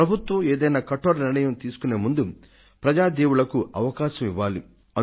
ప్రభుత్వం ఏదైనా కఠోర నిర్ణయాన్ని తీసుకొనే ముందు ప్రజా దేవుళ్లకు అవకాశం ఇవ్వాలి